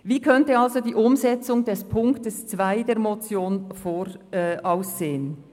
Wie könnte also die Umsetzung von Ziffer 2 der Motion aussehen?